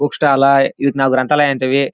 Book stall ಆ ಇದಕ್ ನಾವು ಗ್ರಂಥಾಲಯ ಅಂತೀವಿ.